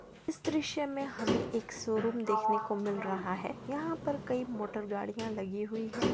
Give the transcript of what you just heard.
इस द्रश्य में हमें एक सो रूम देखने को मिल रहा है यहाँ पर कई मोटर गाड़िया लगी हुई--